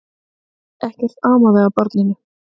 Ekkert amaði að barninu.